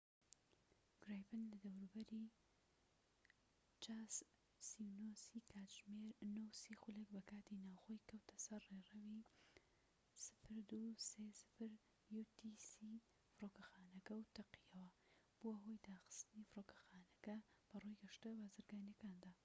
jas 39c گرایپن لە دەوروبەری کاتژمێر 9:30 بە کاتی ناوخۆیی‎ 0230 utc ‎کەوتە سەر ڕێڕەوی فڕۆکەخانەکە و تەقییەوە، بوە هۆی داخستنی فرۆکەخانەکە بە ڕووی گەشتە بازرگانیەکان